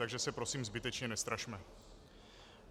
Takže se prosím zbytečně nestrašme.